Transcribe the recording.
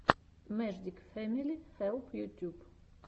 мэждик фэмили хэлп ютюб